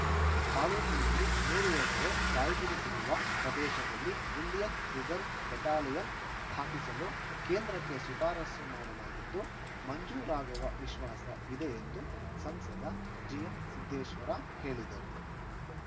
ತಾಲೂಕಿನಲ್ಲಿ ನೂರು ಎಕರೆ ಕಾಯ್ದಿರಿಸಿರುವ ಪ್ರದೇಶದಲ್ಲಿ ಇಂಡಿಯನ್‌ ರಿಸರ್ವ ಬೆಟಾಲಿಯನ್‌ ಸ್ಥಾಪಿಸಲು ಕೇಂದ್ರಕ್ಕೆ ಶಿಫಾರಸು ಮಾಡಲಾಗಿದ್ದು ಮಂಜೂರಾಗುವ ವಿಶ್ವಾಸ ಇದೆ ಎಂದು ಸಂಸದ ಜಿಎಂಸಿದ್ದೇಶ್ವರ ಹೇಳಿದರು